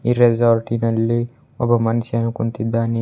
ಈ ರೆಸಾರ್ಟ್ನಲ್ಲಿ ಒಬ್ಬ ಮನುಷ್ಯನು ಕುಂತಿದ್ದಾನೆ.